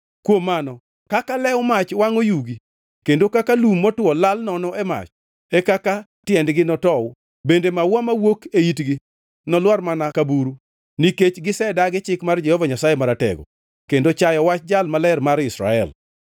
Kuom mano kaka lew mach wangʼo yugi kendo kaka lum motwo lal nono e mach, e kaka tiendgi notow bende maua mawuok e itgi nolwar mana ka buru, nikech gisedagi chik mar Jehova Nyasaye Maratego kendo chayo wach Jal Maler mar Israel.